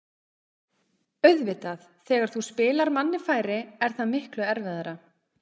Auðvitað, þegar þú spilar manni færri er það miklu erfiðara.